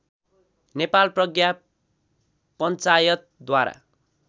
Nepal Pragya पञ्चायतद्वारा